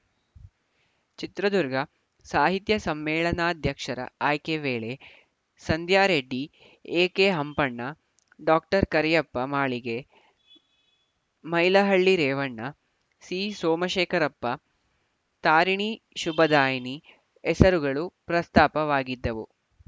ಚಿತ್ರದುರ್ಗ ಸಾಹಿತ್ಯ ಸಮ್ಮೇಳನಾಧ್ಯಕ್ಷರ ಆಯ್ಕೆ ವೇಳೆ ಸಂಧ್ಯಾರೆಡ್ಡಿ ಎಕೆಹಂಪಣ್ಣ ಡಾಕರಿಯಪ್ಪ ಮಾಳಿಗೆ ಮೈಲಹಳ್ಳಿ ರೇವಣ್ಣ ಸಿಸೋಮಶೇಖರಪ್ಪ ತಾರಿಣಿ ಶುಭದಾಯಿನಿ ಹೆಸರುಗಳು ಪ್ರಸ್ತಾಪವಾಗಿದ್ದವು